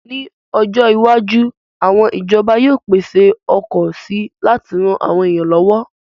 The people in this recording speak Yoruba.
Ní ọjọ́ iwájú, àwọn ìjọba yóò pèsè ọkọ̀ si láti ran àwọn èèyàn lọ́wọ́